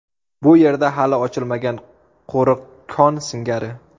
Bu yerda hali ochilmagan qo‘riq kon singari.